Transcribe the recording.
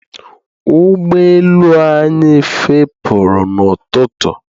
ụgbọ elu anyị fepuru n'ụtụtụ